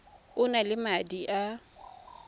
o na le madi a